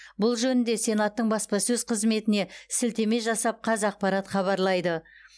бұл жөнінде сенаттың баспасөз қызметіне сілтеме жасап қазақпарат хабарлайды